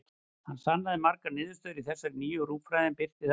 Hann sannaði margar niðurstöður í þessari nýju rúmfræði, en birti þær aldrei.